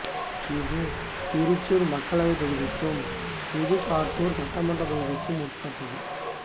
இது திருச்சூர் மக்களவைத் தொகுதிக்கும் புதுக்காட்டுச் சட்டமன்றத் தொகுதிக்கும் உட்பட்டது